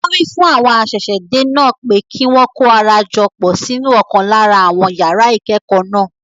Wọn wí fún àwọn ṣẹ̀ṣẹ̀-dé náà pé kí wọn kó ara jọ pọ̀ sínú ọ̀kan lára àwọn yàrá ìkẹ́kọ̀ọ́ náà.